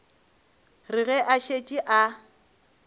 re ge a šetše a